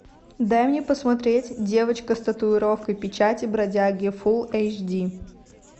дай мне посмотреть девочка с татуировкой печати бродяги фул эйч ди